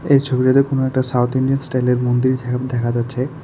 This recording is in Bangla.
এই ছবিটাতে কোন একটা সাউথ ইন্ডিয়ান স্টাইলের মন্দির দেখা যাচ্ছে।